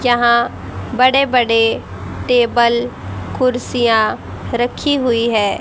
जहां बड़े बड़े टेबल कुर्सियां रखी हुई है।